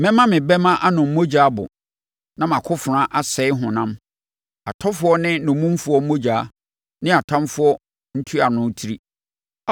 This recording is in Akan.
Mɛma me bɛmma anom mogya abo, na mʼakofena asɛe honam, atɔfoɔ ne nnommumfoɔ mogya, ne atamfoɔ ntuanofoɔ tiri.”